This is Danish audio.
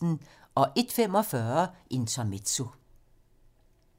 01:45: Intermezzo